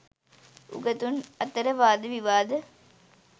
උගතුන් අතර වාද විවාද